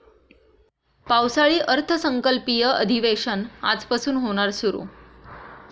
पावसाळी अर्थसंकल्पीय अधिवेशन आजपासून होणार सुरु